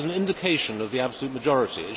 It was an indication of the absolute majority.